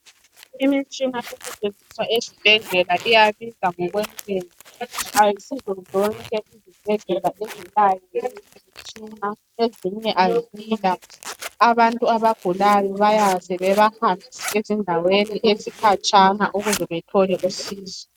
Imitshina esetshenziswa esibhedlela iyabiza ngokwentengo. Ayisizo zonke izibhedlela ezilayo imitshina. Ezinye kazila. Abantu abagulayo bayaze bebahambise ezindaweni ezikhatshana ukuze bethole usizo.